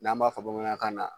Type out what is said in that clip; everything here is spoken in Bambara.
N'an b'a fɔ bamanankan na